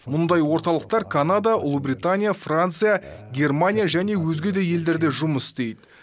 мұндай орталықтар канада ұлыбритания франция германия және өзге де елдерде жұмыс істейді